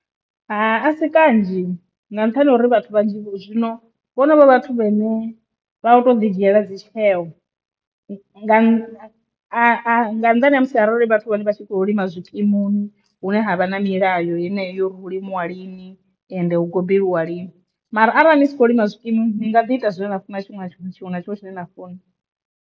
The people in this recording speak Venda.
A si kanzhi nga nṱhani ha uri vhathu vhanzhi zwino vho no vha vhathu vhe ne vha vha vho to ḓi dzhiela tsheo nga nnḓani ha musi arali vhathu vha vha tshi kho lima zwikimuni hune ha vha na milayo yeneyo uri hu limiwa lini ende hu gobeliwa lini, mara arali ni kho lima zwikimuni nga ḓi ita zwine na funa tshifhinga tshiṅwe na tshiṅwe tshine na funa.